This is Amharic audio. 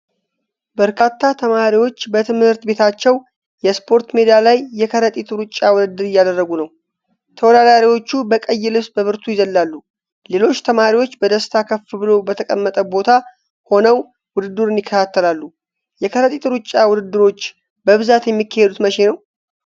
በርካታ ተማሪዎች በትምህርት ቤታቸው የስፖርት ሜዳ ላይ የከረጢት ሩጫ ውድድር እያደረጉ ነው። ተወዳዳሪዎቹ በቀይ ልብስ በብርቱ ይዘላሉ። ሌሎች ተማሪዎች በደስታ ከፍ ብሎ በተቀመጠ ቦታ ሆነው ውድድሩን ይከታተላሉ። የከረጢት ሩጫ ውድድሮች በብዛት የሚካሄዱት መቼ ነው?